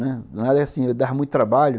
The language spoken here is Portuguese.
Danado assim, eu dava muito trabalho.